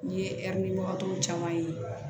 N ye ɛriw caman ye